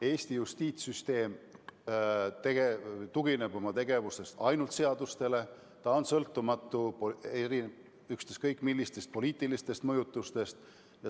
Eesti justiitssüsteem tugineb oma tegevuses ainult seadustele, ta on sõltumatu ükskõik millistest poliitilistest mõjutustest.